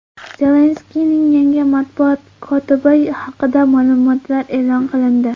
Zelenskiyning yangi matbuot kotibi haqida ma’lumotlar e’lon qilindi.